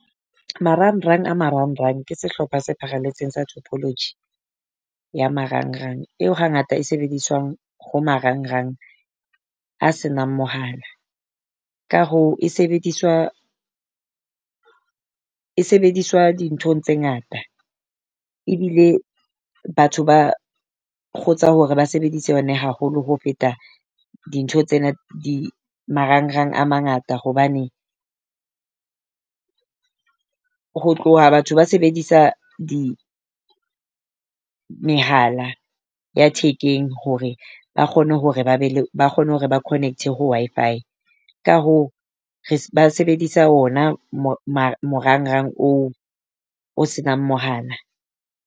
Marangrang a marangrang ke sehlopha se pharaletseng sa technology ya marang rang. Eo hangata e sebediswang ho marangrang a se nang mohala. Ka hoo e sebediswa e sebediswa dinthong tse ngata. Ebile batho ba kgotsa hore ba sebedise yona haholo ho feta dintho tsena. Marangrang a mangata hobane ho tloha batho ba sebedisa di mehala ya thekeng hore ba kgone hore ba be le ba kgone hore ba connect ho Wi-Fi. Ka hoo re ba sebedisa o na morangrang oo o se nang mohala.